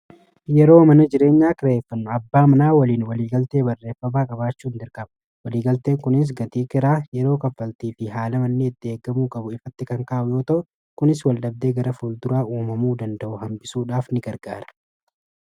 yeroo mana jireenya kareeffanno abbaa manaa waliin waliigaltee barreeffabaa qabaachuu hin dirkaba waliigaltee kunis gatii kiraa yeroo kaffaltii fi haala mannii itti eeggamuu qabu ifatti kankaawa yoota kunis waldabdee gara ful duraa uumamuu danda'u hambisuudhaaf ni gargaara